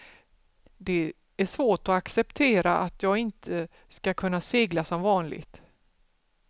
Det är svårt att acceptera att jag inte skall kunna segla som vanligt.